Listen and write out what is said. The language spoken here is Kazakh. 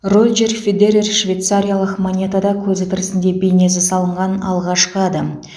роджер федерер швейцариялық монетада көзі тірісінде бейнесі салынған алғашқы адам